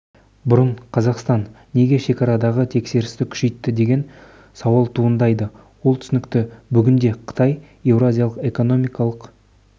бұрын қазақстан неге шекарадағы тексерісті күшейтті деген сауал туындайды ол түсінікті бүгінде қытай еуразиялық экономикалық